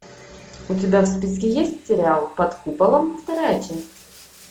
у тебя в списке есть сериал под куполом вторая часть